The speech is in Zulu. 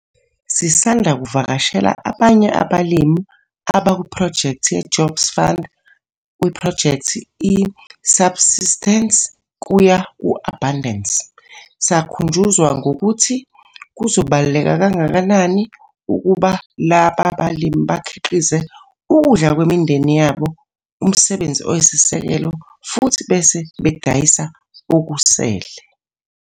Sisanda kuvakashela abanye abalimi abakuphrojekthi ye-Jobs Fund, kwiphrojekthi i-Subsistence kuya ku-Abundance, sakhunjuzwa ngokuthi kubaluleke kangakanani ukuba laba balimi bakhiqize ukudla kwemindeni yabo, umsebenzi wabo oyisisekelo, futhi bese bedayisa okusele.